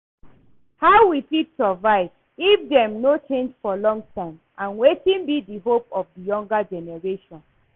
How we fit survive if dem no change for long time, and wetin be di hope of di younger generations?